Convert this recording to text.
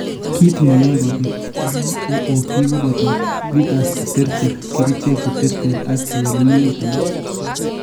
Kiit neyoe kobit BOOP koboto vitus cheterter, kerichek cheterter ak kewelinwek alak